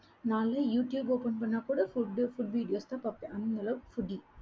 நான்லாம் YouTube open பண்ணா கூட food food videos தான் பாப்பே அந்தளவுக்கு foodie